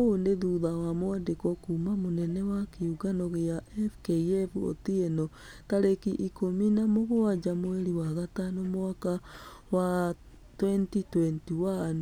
Ũũ nĩ thutha wa mwandĩko kuuma mũnene wa kĩũngano gĩa fkf otieno, tarĩki ikũmi na mũgwaja mweri wa gatano mwaka wa 2021 .